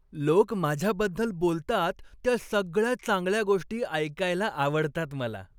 लोक माझ्याबद्दल बोलतात त्या सगळ्या चांगल्या गोष्टी ऐकायला आवडतात मला.